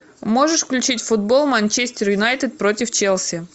можешь включить футбол манчестер юнайтед против челси